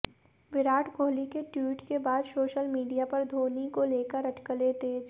विराट कोहली के ट्वीट के बाद सोशल मीडिया पर धोनी को लेकर अटकलें तेज